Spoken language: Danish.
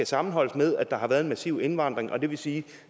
sammenholdes med at der har været en massiv indvandring og det vil sige at